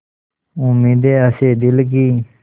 उम्मीदें हसें दिल की